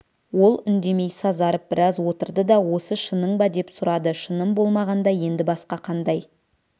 ол үндемей сазарып біраз отырды да осы шының ба деп сұрады шыным болмағанда енді басқа қандай